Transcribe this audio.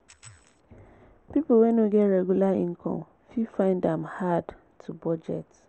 pipo wey no get regular income fit find am hard to budget